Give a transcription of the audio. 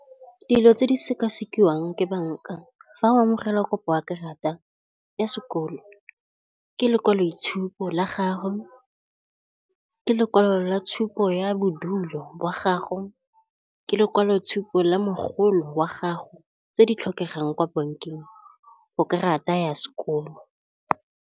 Dilo tse di sekasekiwang ke bank-a fa o amogela kopo ya karata ya sekoloto ke lekwaloitshupo la gago, ke lekwalo la tshupo ya bodulo jwa gago, ke lekwalotshupo la mogolo wa gago tse di tlhokegang kwa bank-eng for karata ya sekoloto.